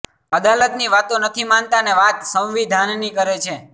અદાલતની વાતો નથી માનતા અને વાત સંવિધાનની કરે છે